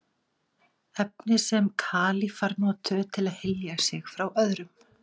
Efni sem kalífar notuðu til að hylja sig frá öðrum.